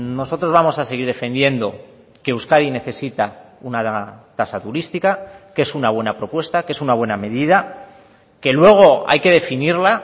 nosotros vamos a seguir defendiendo que euskadi necesita una tasa turística que es una buena propuesta que es una buena medida que luego hay que definirla